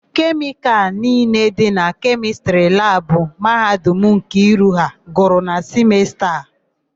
Kemịkalụ niile dị na Kemịstrị labụ Mahadum Nkiru ha gwụrụ na simesta a.